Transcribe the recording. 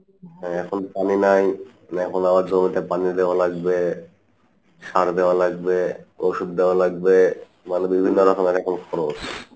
হ্যাঁ এখন পানি নাই জমিতে পানি দেওয়া লাগবে সার দেওয়া লাগবে ওষুদ দেওয়া লাগবে মানে বিভিন্ন রকম খরচ,